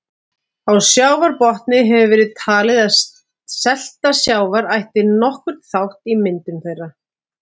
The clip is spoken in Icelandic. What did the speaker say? Á sjávarbotni hefur verið talið að selta sjávar ætti nokkurn þátt í myndun þeirra.